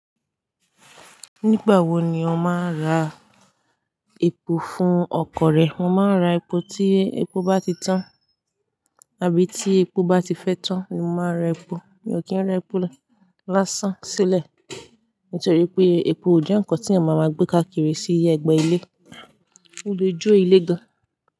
Nígbà wo ni o máa n ra epo fún ọkọ̀ rẹ? Mo máa ń ra epo tí epo bá ti tán àbí tí epo bá ti fẹ́ tán òun ni mo máa ń ra epo. Mi ò kí ń rẹ́ epo lásán sílẹ̀, nítorí pé epo ò jẹ́ nǹkan tí yan màá ma gbé káàkiri sí ẹgbẹ́ ilé, ó lè jó ilé gan.